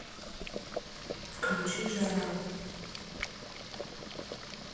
включи жара